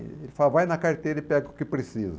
Ele falava, vai na carteira e pega o que precisa.